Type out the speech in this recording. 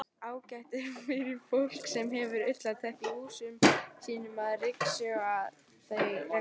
Ágætt er fyrir fólk sem hefur ullarteppi í húsum sínum að ryksjúga þau reglulega.